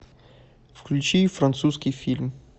включи французский фильм